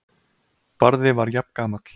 Barði var jafngamall